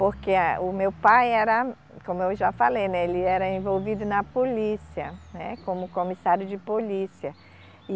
Porque a o meu pai era, como eu já falei, né, ele era envolvido na polícia, né, como comissário de polícia. E